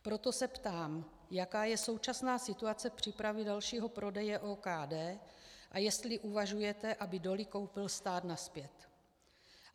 Proto se ptám, jaká je současná situace přípravy dalšího prodeje OKD a jestli uvažujete, aby doly koupil stát nazpět.